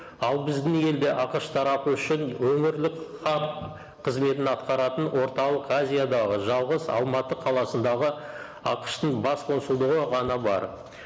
ал біздің елде ақш тарапы үшін өңірлік хақ қызметін атқаратын орталық азиядағы жалғыз алматы қаласындағы ақш тың бас консулдығы ғана бар